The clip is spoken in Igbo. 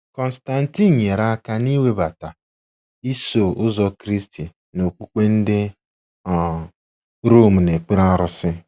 Constantine nyere aka n'iwebata “Iso Ụzọ Kristi” na okpukpe ndị um Rom na-ekpere arụsị.